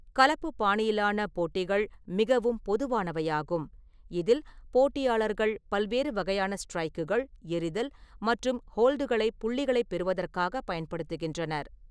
கலப்பு பாணியிலான போட்டிகள் மிகவும் பொதுவானவையாகும், இதில் போட்டியாளர்கள் பல்வேறு வகையான ஸ்ட்ரைக்குகள், எறிதல் மற்றும் ஹோல்டுகளை புள்ளிகளை பெறுவதற்காக பயன்படுத்துகின்றனர்.